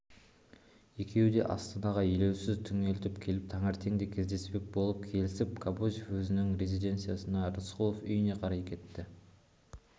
екеуі де астанаға елеусіз түнделетіп келіп таңертең те кездеспек болып келісіп кобозев өзінің резиденциясына рысқұлов үйіне қарай кетті